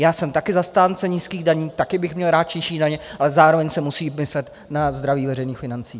Já jsem také zastáncem nízkých daní, také bych měl rád nižší daně, ale zároveň se musí myslet na zdraví veřejných financí.